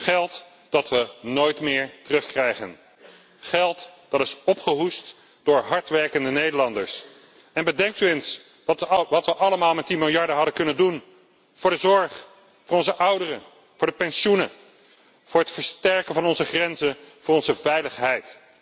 Geld dat we nooit meer terugkrijgen. Geld dat is opgehoest door hardwerkende Nederlanders. Bedenkt u eens wat we allemaal met die miljarden hadden kunnen doen, voor de zorg, voor onze ouderen, voor de pensioenen, voor het versterken van onze grenzen, voor onze veiligheid.